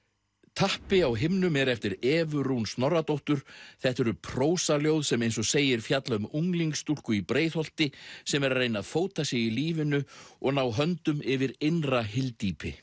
tappi á himnum er eftir Evu Rún Snorradóttur þetta eru prósaljóð sem eins og segir fjalla um unglingsstúlku í Breiðholti sem er að reyna að fóta sig í lífinu og ná höndum yfir innra hyldýpi